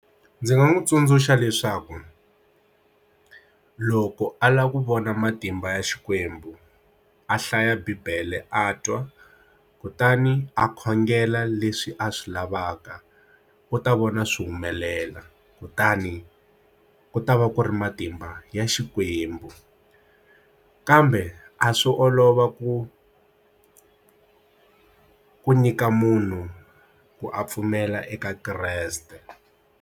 Ndzi nga n'wi tsundzuxa leswaku loko a lava ku vona matimba ya xikwembu a hlaya Bibele a twa kutani a khongela leswi a swi lavaka ku ta vona swi humelela kutani ku ta va ku ri matimba ya xikwembu kambe a swo olova ku ku nyika munhu ku a pfumela eka Kreste.